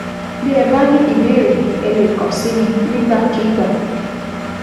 bí ẹ bá ní ìbéèrè, ẹ lè kàn sí mi nígbàkigbà